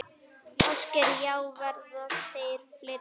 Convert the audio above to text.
Ásgeir: Já, verða þær fleiri?